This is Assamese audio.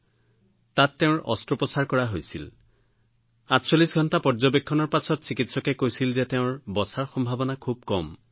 ৪৮ ঘণ্টা পৰ্যৱেক্ষণ কৰাৰ পিছত তেওঁৰ তাত অস্ত্ৰোপচাৰ কৰা হৈছিল চিকিৎসকে কৈছিল যে খুব কম সম্ভাৱনা আছে